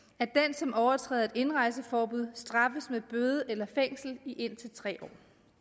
som overtræder et indrejseforbud straffes med bøde eller fængsel i indtil tre år